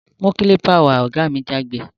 Mú Kálìpà wá! ògá mi jágbe